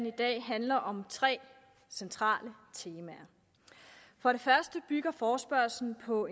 i dag handler om tre centrale temaer for det første bygger forespørgslen på